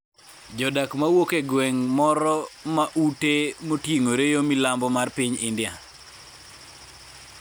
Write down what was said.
jodak mawuok e gweng' moro mag ute moting'ore yo milambo mar piny India